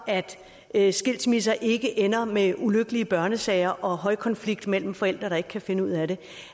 at skilsmisser ikke ender med ulykkelige børnesager og højkonflikt mellem forældre der ikke kan finde ud af det